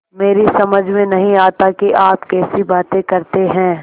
मेरी समझ में नहीं आता कि आप कैसी बातें करते हैं